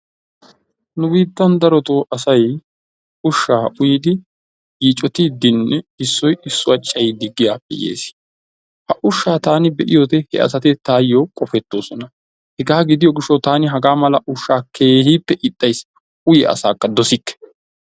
Nu biittan darotoo asay ushshaa uyidi yiicotiiddinne issoy issuwa cayiiddi giyaappe yees. Ha ushshaa taani be'iyode he asati taayyoo qopettoosona. Hegaa gidiyo gishshawu taani hagaa mala ushshaa keehippe ixxayis. Uyiya asaakka dosikke.